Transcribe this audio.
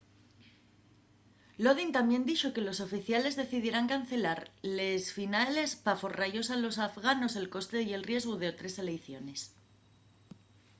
lodin tamién dixo que los oficiales decidieran cancelar les finales p'aforra-yos a los afganos el coste y el riesgu d'otres eleiciones